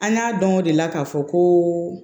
An y'a dɔn o de la k'a fɔ ko